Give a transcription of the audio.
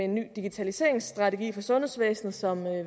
ny digitaliseringsstrategi for sundhedsvæsenet som